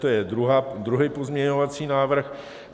To je druhý pozměňovací návrh.